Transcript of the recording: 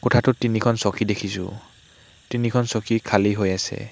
কোঠাটোত তিনিখন চকী দেখিছোঁ তিনিখন চকী খালি হৈ আছে।